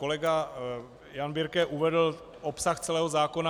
Kolega Jan Birke uvedl obsah celého zákona.